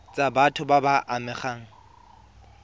tsa batho ba ba amegang